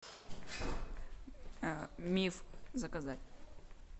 миф заказать